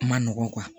Ma nɔgɔ